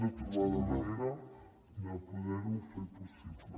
de trobar la manera de poder ho fer possible